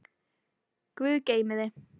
Guð geymi þig.